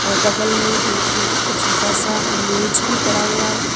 और बगल में एक छोटा सा मेज भी पड़ा हुआ है।